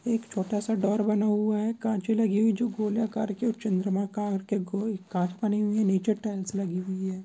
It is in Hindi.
एक छोटा सा ड्रओर बना हुआ है कांचे लगी हुई जो गोलाकार की और चंद्रमाकार की गोल काच बनी हुई है नीचे टाइल्स लगी हुई है।